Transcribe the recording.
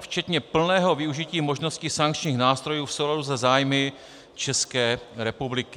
včetně plného využití možností sankčních nástrojů v souladu se zájmy České republiky.